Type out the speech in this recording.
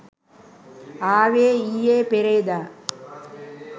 ආවේ ඊයේ පෙරේදා.